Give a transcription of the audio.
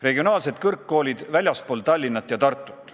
Regionaalsed kõrgkoolid väljaspool Tallinnat ja Tartut.